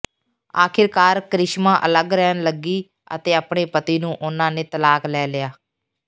ਆਖਿਰਕਾਰ ਕਰਿਸ਼ਮਾ ਅਲੱਗ ਰਹਿਣ ਲੱਗੀ ਅਤੇ ਆਪਣੇ ਪਤੀ ਨੂੰ ਉਨ੍ਹਾਂ ਨੇ ਤਲਾਕ ਲੈ ਲਿਆ